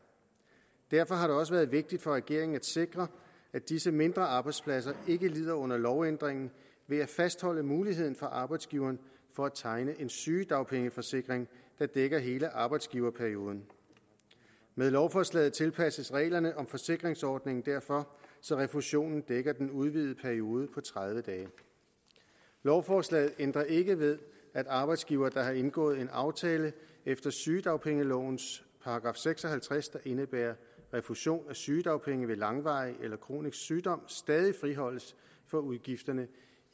derfor har det også været vigtigt for regeringen at sikre at disse mindre arbejdspladser ikke lider under lovændringen ved at fastholde muligheden for arbejdsgiveren for at tegne en sygedagpengeforsikring der dækker hele arbejdsgiverperioden med lovforslaget tilpasses reglerne om forsikringsordningen derfor så refusionen dækker den udvidede periode på tredive dage lovforslaget ændrer ikke ved at arbejdsgivere der har indgået en aftale efter sygedagpengelovens § seks og halvtreds der indebærer refusion af sygedagpenge ved langvarig eller kronisk sygdom stadig friholdes for udgifterne